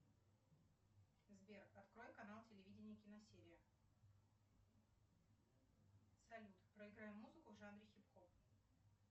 сбер открой канал телевидения киносерия салют проиграй музыку в жанре хип хоп